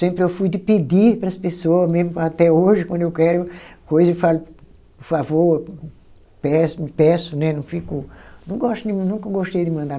Sempre eu fui de pedir para as pessoa, mesmo até hoje, quando eu quero coisa, eu falo, por favor, peço, peço né não fico. Não gosto, nunca gostei de mandar.